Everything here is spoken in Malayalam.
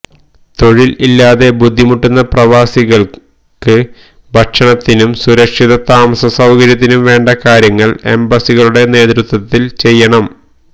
തൊഴിൽ ഇല്ലാതെ ബുദ്ധിമുട്ടുന്ന പ്രവാസികൾക്ക് ഭക്ഷണത്തിനും സുരക്ഷിത താമസ സൌകര്യത്തിനും വേണ്ട കാര്യങ്ങൾ എംബസികളുടെ നേതൃത്വത്തിൽ ചെയ്യണം